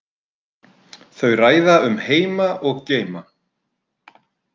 Þau ræða um heima og geima.